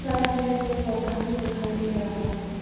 Side में पेड़ पौधा भी दिखाई दे रहा है।